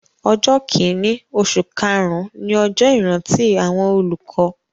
Ọjọ́ kìíní oṣù karùn-ún ni ọjọ́ ìrántí àwọn olùkọ́